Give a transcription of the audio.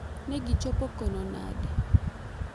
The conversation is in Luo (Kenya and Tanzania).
Negi chopo kono nade?